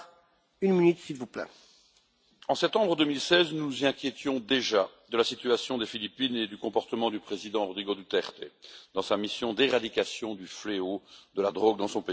Monsieur le Président, en septembre 2016, nous nous inquiétions déjà de la situation aux Philippines et du comportement du président Rodrigo Duterte dans sa mission d'éradication du fléau de la drogue dans son pays.